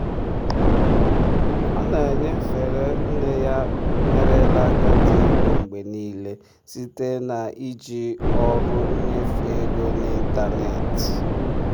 ọ na-enyefere nne ya merela agadi ego mgbe niile site na-iji ọrụ nnyefe ego n'ịntanetị.